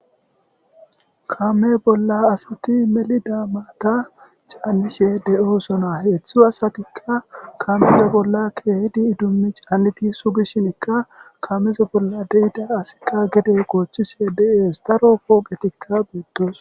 kame bolla asati melida maata caanishe de7o sona heedzdzu asatikka kamezo bollakke hidi idummi caanniti sugishinikka kamezo bolla deida asikka gede goochchise deees daro pooqetikka beettos